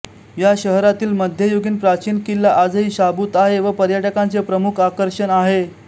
या शहरातील मध्ययुगीन प्राचीन किल्ला आजही शाबूत आहे व पर्यटकांचे प्रमुख आकर्षण आहे